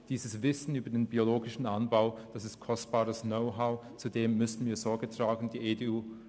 Das Wissen über den biologischen Anbau ist kostbares Know-how, zu dem wir Sorge tragen müssen.